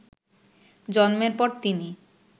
জন্মের পর তিনি